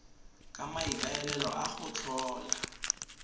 ka maikaelelo a go tlhola